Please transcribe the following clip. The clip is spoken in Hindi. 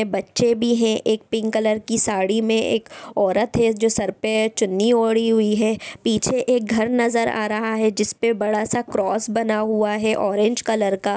बच्चे भी हैं। एक पिंक कलर की साड़ी में एक औरत है जो सर पे चुन्नी ओढ़ी हुई है। पीछे एक घर नजर आ रहा है जिसपे बड़ा सा एक क्रॉस बना हुआ है ऑरेंज कलर का।